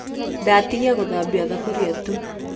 Ndatigia gũthambia thuburia tu.